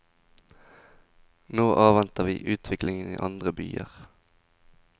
Nå avventer vi utviklingen i andre byer.